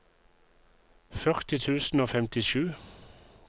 førti tusen og femtisju